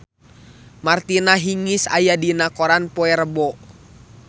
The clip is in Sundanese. Martina Hingis aya dina koran poe Rebo